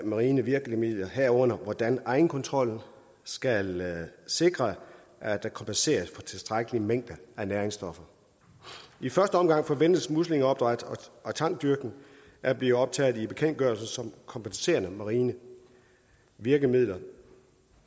marine virkemidler herunder hvordan egenkontrol skal sikre at der kompenseres for tilstrækkelig mængde af næringsstoffer i første omgang forventes muslingeopdræt og tangdyrkning at blive optaget i bekendtgørelsen som kompenserende marine virkemidler